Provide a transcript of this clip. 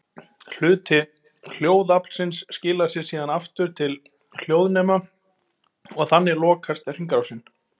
Hluti hljóðaflsins skilar sér síðan aftur til hljóðnema og þannig lokast hringrásin.